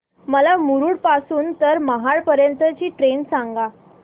मला मुरुड पासून तर महाड पर्यंत ची ट्रेन सांगा